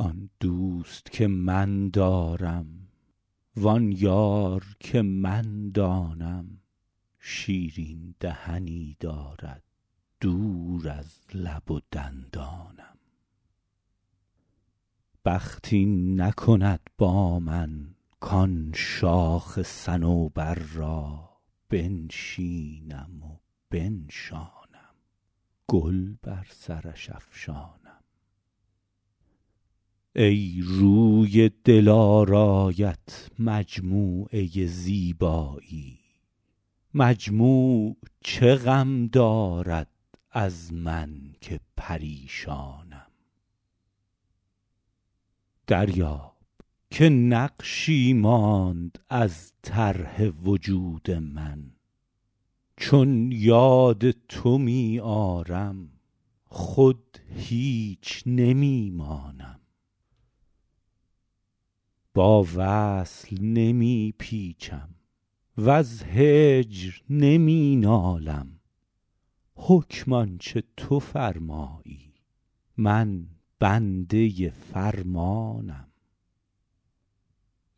آن دوست که من دارم وآن یار که من دانم شیرین دهنی دارد دور از لب و دندانم بخت این نکند با من کآن شاخ صنوبر را بنشینم و بنشانم گل بر سرش افشانم ای روی دلارایت مجموعه زیبایی مجموع چه غم دارد از من که پریشانم دریاب که نقشی ماند از طرح وجود من چون یاد تو می آرم خود هیچ نمی مانم با وصل نمی پیچم وز هجر نمی نالم حکم آن چه تو فرمایی من بنده فرمانم